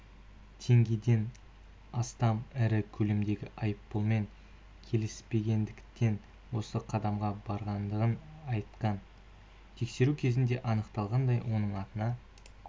теңгеден астам ірі көлемдегі айыппұлмен келіспегендіктен осы қадамға барғандығын айтқан тексеру кезінде анықталғандай оның атына